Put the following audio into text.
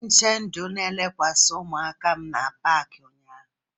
Onye nche ndụ elekwasịrị ụmụaka m n'Paakị ụnyaahụ?